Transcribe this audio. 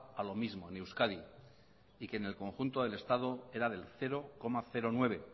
a lo mismo en euskadi y que en el conjunto del estado era del cero coma nueve